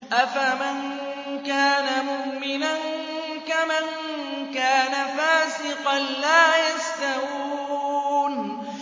أَفَمَن كَانَ مُؤْمِنًا كَمَن كَانَ فَاسِقًا ۚ لَّا يَسْتَوُونَ